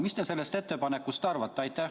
Mis te sellest ettepanekust arvate?